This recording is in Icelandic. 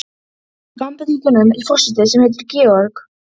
Hvenær burstaði hann síðast í sér tennurnar?